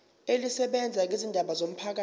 elisebenza ngezindaba zomphakathi